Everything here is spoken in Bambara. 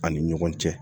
An ni ɲɔgɔn cɛ